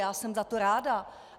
Já jsem za to ráda.